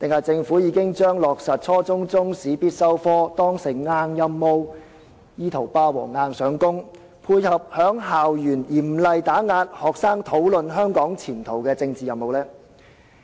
政府是否把落實初中中史必修科當成硬任務，意圖霸王硬上弓，配合在校園嚴厲打壓學生討論香港前途的政治任務？